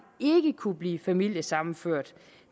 ikke kunne blive familiesammenført